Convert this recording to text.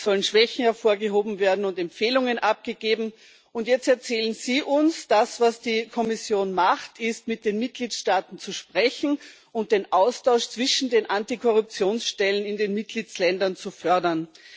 es sollen Schwächen hervorgehoben und Empfehlungen abgegeben werden. Und jetzt erzählen Sie uns Das, was die Kommission macht, ist, mit den Mitgliedstaaten zu sprechen und den Austausch zwischen den Antikorruptionsstellen in den Mitgliedstaaten zu fördern.